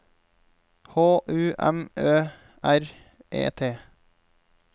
H U M Ø R E T